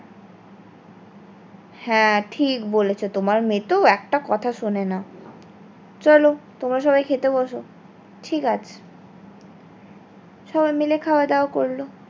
হয় ঠিক বলেছো তোমার মেয়েতো একটা কথা শোনে না চলো তোমরা সবাই খেতে বসো। ঠিক আছে, সবাই মিলে খাওয়া দাওয়া করলো